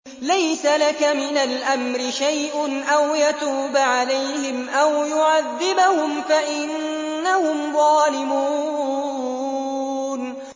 لَيْسَ لَكَ مِنَ الْأَمْرِ شَيْءٌ أَوْ يَتُوبَ عَلَيْهِمْ أَوْ يُعَذِّبَهُمْ فَإِنَّهُمْ ظَالِمُونَ